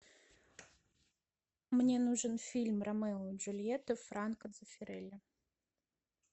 мне нужен фильм ромео и джульетта франко дзеффирелли